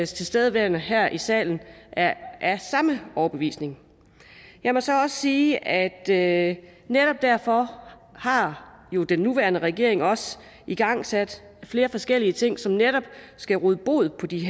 tilstedeværende her i salen er af samme overbevisning jeg må så også sige at at netop derfor har den nuværende regering jo også igangsæt flere forskellige ting som netop skal råde bod på de